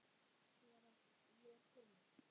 Ég er kona